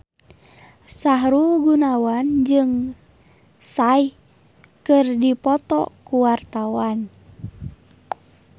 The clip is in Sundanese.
Sahrul Gunawan jeung Psy keur dipoto ku wartawan